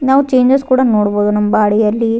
ನಾವ್ ಚೇಂಜಸ್ ಕೂಡ ನೋಡ್ಬೋದು ನಮ್ ಬಾಡಿಗಯಲ್ಲಿ --